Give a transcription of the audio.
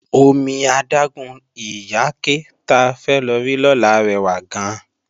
Omi adágún Ìyáké ta fẹ́ lọ rí lọ́la rẹwà gan-an